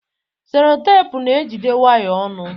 Selotepụ na-ejide waya ọnụ.